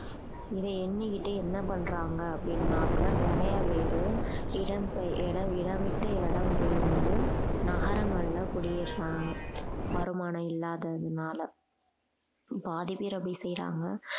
இதை எண்ணிக்கிட்டு என்ன பண்றாங்க அப்படின்னாக்கா நிறைய பேரு இடம் பெ~ இடம் விட்டு இடம் பெயர்ந்து நகரங்கள்ல குடியேறினாங்க வருமானம் இல்லாததுனால பாதி பேர் அப்படி செய்யறாங்க